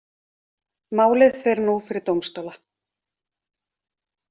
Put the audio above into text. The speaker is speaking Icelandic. Málið fer nú fyrir dómstóla